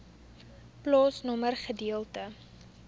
plaasnommer gedeelte